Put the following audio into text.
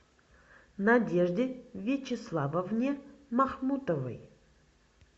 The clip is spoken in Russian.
надежде вячеславовне махмутовой